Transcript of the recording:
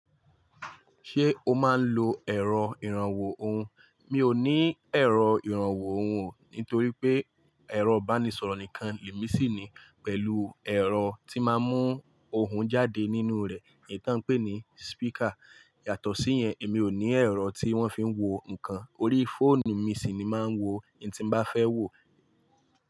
Ṣé o máa ń lo ẹ̀rọ ìrànwọ́ ohùn? Mi ò ní ẹ̀rọ ìrànwọ́ ohùn o, nítorí pé ẹ̀rọ ìbánisọ̀rọ̀ nìkan lè mí sì ní, pẹ̀lú ẹ̀rọ tí máa ń mú ohùn jáde nínú rẹ̀ ni tá n pè ní speaker. Yàtọ̀ sí yẹn, èmi ò ní ẹ̀rọ tí wọ́n fi ń wo nǹkan. Orí fóònù mi sì ni máa ń wo ohun tí mo bá fẹ́ wo.